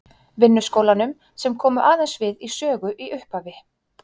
Vinnuskólanum, sem komu aðeins við sögu í upphafi.